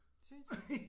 Synes du